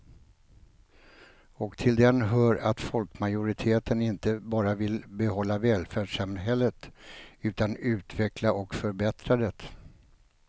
Och till den hör att folkmajoriteten inte bara vill behålla välfärdssamhället utan utveckla och förbättra det.